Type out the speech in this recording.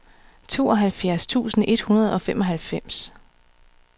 tooghalvfjerds tusind et hundrede og femoghalvfems